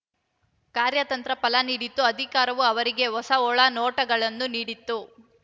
ಕಾರ್ಯತಂತ್ರ ಫಲ ನೀಡಿತ್ತು ಅಧಿಕಾರವು ಅವರಿಗೆ ಹೊಸ ಒಳನೋಟಗಳನ್ನು ನೀಡಿತು